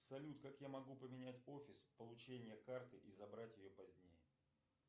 салют как я могу поменять офис получения карты и забрать ее позднее